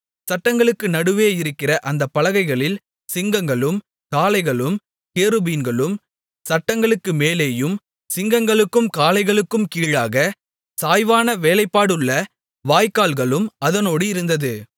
சட்டங்களுக்கு நடுவே இருக்கிற அந்த பலகைகளில் சிங்கங்களும் காளைகளும் கேருபீன்களும் சட்டங்களுக்கு மேலேயும் சிங்கங்களுக்கும் காளைகளுக்கும் கீழாக சாய்வான வேலைப்பாடுள்ள வாய்க்கால்களும் அதனோடு இருந்தது